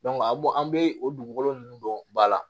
a bɛ bɔ an bɛ o dugukolo ninnu dɔn ba la